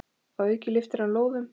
Að auki lyftir hann lóðum.